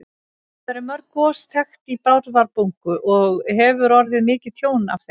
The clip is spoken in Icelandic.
Hvað eru mörg gos þekkt í Bárðarbungu og hefur orðið mikið tjón af þeim?